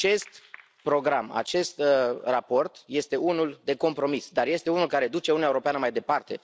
Acest program, acest raport este unul de compromis, dar este unul care duce Uniunea Europeană mai departe.